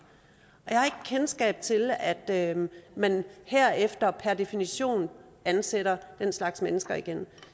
og kendskab til at man herefter per definition ansætter den slags mennesker igen